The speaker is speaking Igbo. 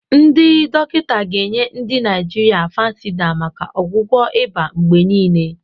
Ndị dọkịta ga-enye ndi Naijiria Fansidar maka ọgwụgwọ ịba mgbe niile.